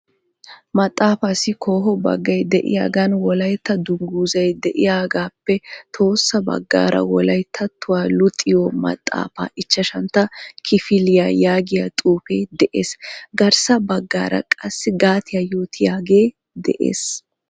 Maxaafaassi koho baggay de"iyaagan wolaytta dunguzzay de'iyaagaappe tohossa baggaara " wolayttattuwa luxiyo maxaafaa ichchashantta kifiliya" yaagiya xuufe de'ees. Garssa baggaara qassi gatiya yootiyaagee de'ees.